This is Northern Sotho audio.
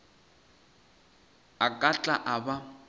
a ka tla a ba